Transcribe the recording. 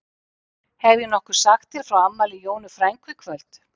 Hef ég nokkuð sagt þér frá afmæli Jónu frænku í kvöld?